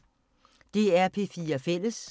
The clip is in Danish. DR P4 Fælles